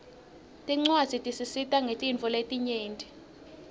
tincuadzi tisisita ngetintfo letinyenti